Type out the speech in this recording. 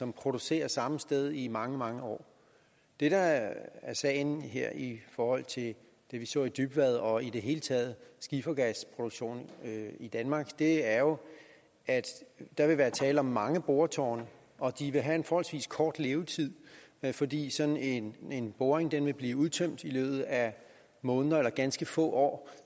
som producerer samme sted i mange mange år det der er sagen her i forhold til det vi så i dybvad og i det hele taget skifergasproduktion i danmark er jo at der vil være tale om mange boretårne og at de vil have en forholdsvis kort levetid fordi sådan en boring vil blive udtømt i løbet af en måned eller ganske få år